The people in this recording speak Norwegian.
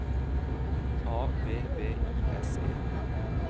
A V V I S E